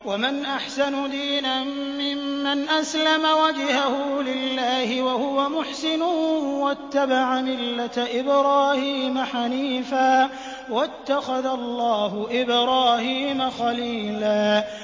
وَمَنْ أَحْسَنُ دِينًا مِّمَّنْ أَسْلَمَ وَجْهَهُ لِلَّهِ وَهُوَ مُحْسِنٌ وَاتَّبَعَ مِلَّةَ إِبْرَاهِيمَ حَنِيفًا ۗ وَاتَّخَذَ اللَّهُ إِبْرَاهِيمَ خَلِيلًا